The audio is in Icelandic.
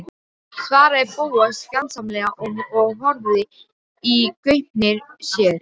svaraði Bóas fjandsamlega og horfði í gaupnir sér.